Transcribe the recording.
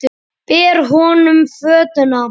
Ber honum fötuna.